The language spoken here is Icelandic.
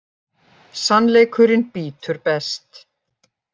Sannleikurinn bítur best.